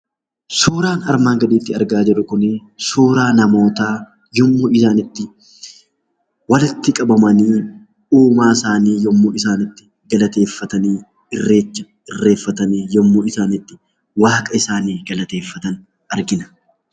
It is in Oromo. Suuraan armaan gaditti argaa jirru Kun, suuraa namootaa yemmuu isaan itti walitti qabamanii uumaa yemmuu isaanii itti galateeffan, irreecha irreeffatanii yemmuu isaan itti waaqa isaanii galateeffatan argina.